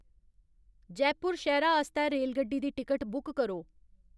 जयपुर शैह्रा आस्तै रेलगड्डी दी टिकट बुक करो